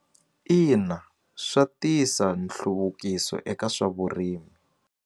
Ina swa tisa nhluvukiso eka swa vurimi.